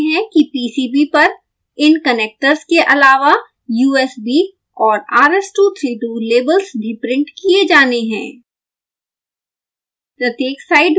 हम देख सकते हैं कि pcb पर इन कनेक्टर्स के आलावा usb और rs232 लेबल्स भी प्रिंट किये जाने हैं